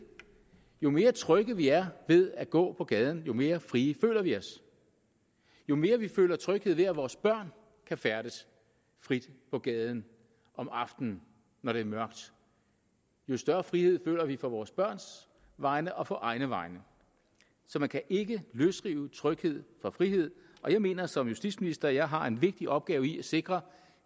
jo mere trygge vi er ved at gå på gaden jo mere frie føler vi os jo mere vil føler tryghed ved at vores børn kan færdes frit på gaden om aftenen når det er mørkt jo større frihed føler vi på vores børns vegne og på egne vegne så man kan ikke løsrive tryghed fra frihed og jeg mener som justitsminister at jeg har en vigtig opgave i at sikre